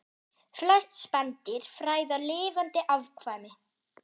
Flest spendýr fæða lifandi afkvæmi